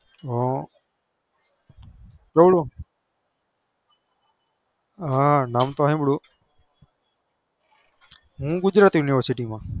હ કેવડું હા નામ તો સાંભળ્યું હું ગુજરાત university માં